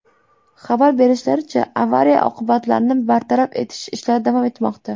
Xabar berishlaricha, avariya oqibatlarini bartaraf etish ishlari davom etmoqda.